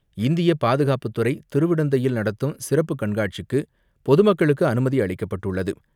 இந்திய பாதுகாப்புத்துறை திருவிடந்தையில் நடத்தும் சிறப்பு கண்காட்சிக்கு பொதுமக்களுக்கு அனுமதி அளிக்கப்பட்டுள்ளது.